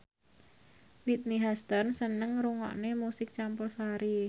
Whitney Houston seneng ngrungokne musik campursari